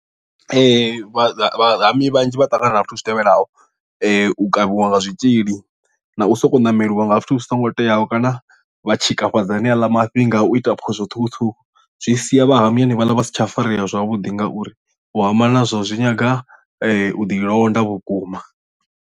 Ee vhahami vhanzhi vha ṱangana na zwithu zwi tevhelaho u kavhiwa nga zwitzhili na u sokou ṋameliwa nga zwithu zwi songo teaho kana vha tshikafhadza hane aḽa mafhi nga u ita phoso ṱhukhuṱhukhu zwi sia vha hami hanevhaḽa vha si tsha farea zwavhuḓi ngauri u hama nazwo zwi nyanga u ḓi londa vhukuma.